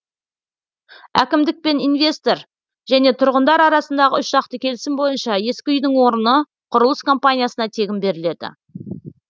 әкімдік пен инвестор және тұрғындар арасындағы үшжақты келісім бойынша ескі үйдің орны құрылыс компаниясына тегін беріледі